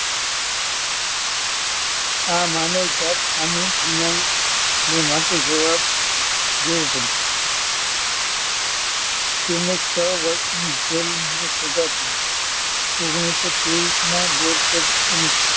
આ માનવજાત સામે દુનિયાને માટે જવાબદાર લેવું પડે તેમને છ વર્ષની જેલની સજા થઈ. ઓગણીસો ત્રેવીસમાં બોરસદ અને,